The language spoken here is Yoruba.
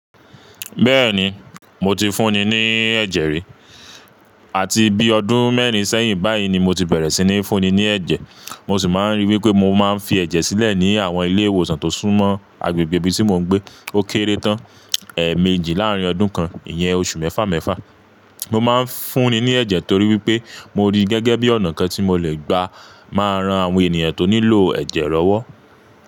Bẹ́ẹ̀ni, mo ti fúnni ní ẹ̀jẹ̀ rí. Àti bí ọdún mẹ́rin sẹ́yìn báyìí ni mo ti bẹ̀rẹ̀ sí ní fúnni ní ẹ̀jẹ̀. Mo sì máa ń ríi wípé mo máa ń fi ẹ̀jẹ̀ sílẹ̀ ní àwọn ilé ìwòsàn tó súnmọ́ agbègbè ibi tí mò ń gbé. Ó kéré tán, ẹ́ẹ̀mèjì láàrín ọdún kan, ìyẹn oṣù mẹ́fà mẹ́fà. Mo máa ń fúnni ní ẹ̀jẹ̀ torí wípé mo rí i gẹ́gẹ́ bí ọ̀nà kan tí mo lè gba máa ran àwọn ènìyàn tó nílò ẹ̀jẹ̀ lọ́wọ́.